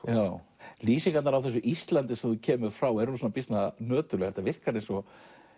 lýsingarnar á þessu Íslandi sem þú kemur frá eru býsna nöturlegar þetta virkar eins og